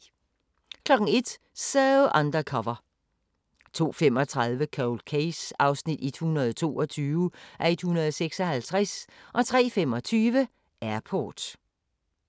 01:00: So Undercover 02:35: Cold Case (122:156) 03:25: Airport